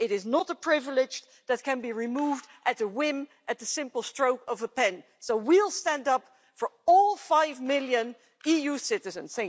It is not a privilege that can be removed at a whim, at the simple stroke of a pen. So we'll stand up for all five million EU citizens.